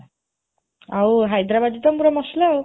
ଆଉ, ହାଇଦ୍ରାବାଦୀ ତ ପୁରା ମସଲା ଆଉ